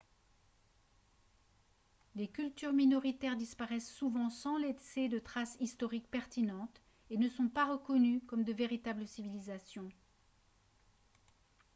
les cultures minoritaires disparaissent souvent sans laisser de traces historiques pertinentes et ne sont pas reconnues comme de véritables civilisations